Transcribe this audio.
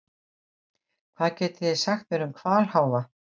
Hvað getið þið sagt mér um hvalháfa?